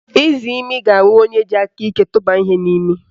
Izimi ga-agba onye ji aka iko tụbanye ihe n'imi